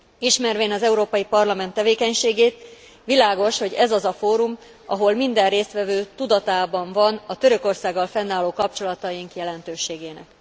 Ismervén az Európai Parlament tevékenységét, világos, hogy ez az a fórum, ahol minden résztvevő tudatában van a Törökországgal fennálló kapcsolataink jelentőségének.